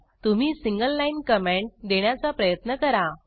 तुम्ही single line comment देण्याचा प्रयत्न करा